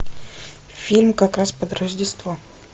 фильм как раз под рождество